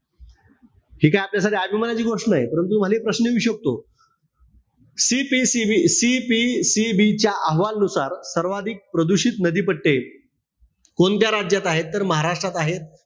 हि काय आपल्यासाठी अभिमानाची गोष्ट नाई. परंतु तुम्हाला एक प्रश्न येऊ शकतो. CPCB-CPCB च्या अहवालानुसार सर्वाधिक प्रदूषित नदी पट्टे कोणत्या राज्यात आहेत. तर महाराष्ट्रात आहे.